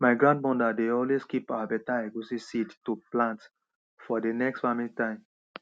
my grandmother dey always keep her beta egusi seed to plant for de next farming time